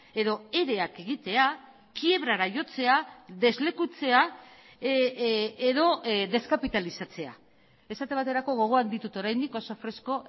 edo ereak egitea kiebrara jotzea deslekutzea edo deskapitalizatzea esate baterako gogoan ditut oraindik oso fresko